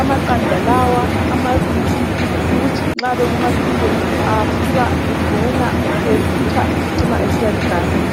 amaqanda lawa amabili ukuthi nxa bekuma periods asuka engena ethutsha ecina esiba ligazi